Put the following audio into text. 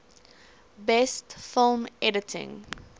best film editing